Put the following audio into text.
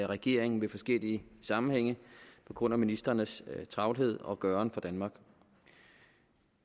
regeringen i forskellige sammenhænge på grund af ministrenes travlhed og gøren for danmark